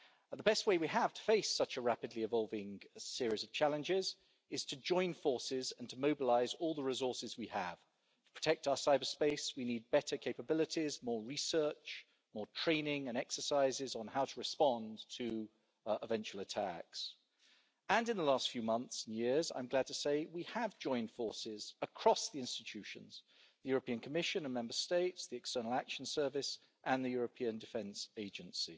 The best way we have to face such a rapidly evolving series of challenges is to join forces and to mobilise all the resources we have. To protect our cyberspace we need better capabilities, more research, more training and exercises on how to respond to eventual attacks, and in the last few months and years I'm glad to say we have joined forces across the institutions the European Commission and Member States, the External Action Service and the European Defence Agency